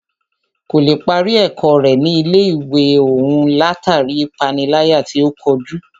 Kò lè parí ẹ̀kọ́ rẹ̀ ní ilé ìwé òún látàri ipániláyà tí o kojú.